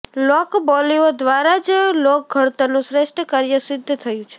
લોકબોલીઓ દ્વારા જ લોકઘડતરનું શ્રેષ્ઠ કાર્ય સિદ્ઘ થયું છે